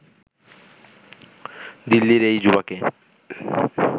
দিল্লির এই যুবাকে